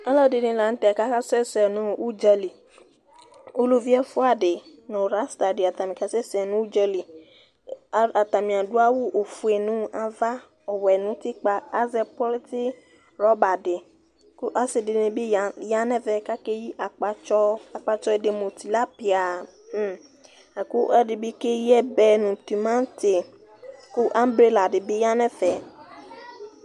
Ɔlɔ dini la nu tɛ aka sɛsɛ nu udza li, uluvi ɛfʋa di nu rasta di ata ni kasɛsɛ nu udza li, ata ni adu awu ofue nu ava, ɔwʋɛ nu utikpa, azɛ kɔŋdzi rɔba di , ɔsi di ni bi ya nu ɛvɛ ku akeyi akpatsɔ , akpatsɔ di mu tilapia, la ku ɔlɔdibi ke yi ɛbɛ nu timanti, ku angrela di bi ya nu ɛfɛ